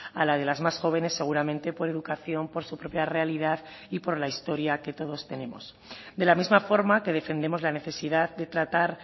a la de las más jóvenes seguramente por educación por su propia realidad y por la historia que todos tenemos de la misma forma que defendemos la necesidad de tratar